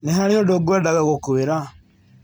Nĩ harĩ ũndũ ngwendaga gũkwĩra.